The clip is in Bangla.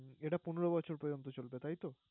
এটা পনেরো বছর পর্যন্ত চলবে তাইতো?